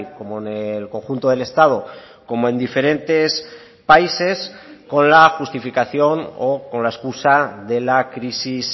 como en el conjunto del estado como en diferentes países con la justificación o con la excusa de la crisis